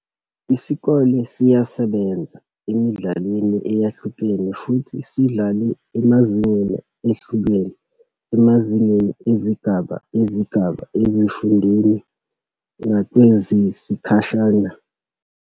Isikole siyasebenza emidlalweni eyahlukene futhi sidlale emazingeni ehlukene emazingeni ezigaba, ezigaba, ezifundeni nakwezesikhashana.